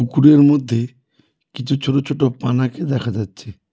পুকুরের মধ্যে কিছু ছোট ছোট পানাকে দেখা যাচ্ছে।